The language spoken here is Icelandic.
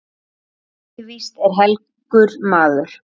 Helgi víst er helgur maður.